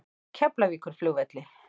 Keflavíkurflugvelli